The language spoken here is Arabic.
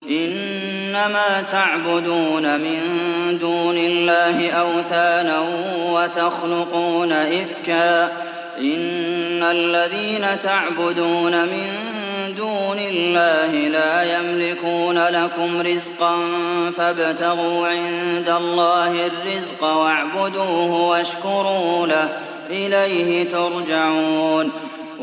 إِنَّمَا تَعْبُدُونَ مِن دُونِ اللَّهِ أَوْثَانًا وَتَخْلُقُونَ إِفْكًا ۚ إِنَّ الَّذِينَ تَعْبُدُونَ مِن دُونِ اللَّهِ لَا يَمْلِكُونَ لَكُمْ رِزْقًا فَابْتَغُوا عِندَ اللَّهِ الرِّزْقَ وَاعْبُدُوهُ وَاشْكُرُوا لَهُ ۖ إِلَيْهِ تُرْجَعُونَ